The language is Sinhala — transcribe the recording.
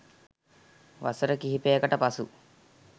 වසර කිහිපයකට පසු